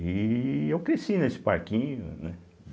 E eu cresci nesse parquinho, né.